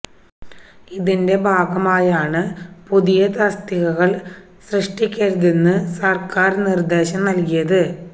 ഇതിന്റെ ഭാഗമായാണ് പുതിയ തസ്തികകള് സൃഷ്ടിക്കരുതെന്ന് സര്ക്കാര് നിര്ദേശം നല്കിയത്